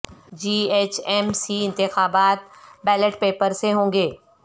جی H M C انتخابات ballot paper سے ہونگے